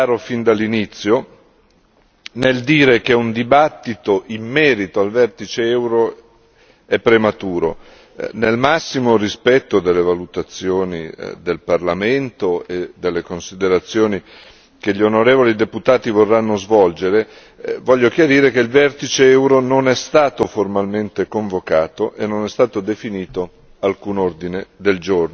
Vorrei però essere chiaro fin dall'inizio, nel dire che un dibattito in merito al vertice euro è prematuro. Nel massimo rispetto delle valutazioni del Parlamento e delle considerazioni che gli onorevoli deputati vorranno svolgere, vorrei chiarire che il vertice euro non è stato formalmente convocato e non è stato definito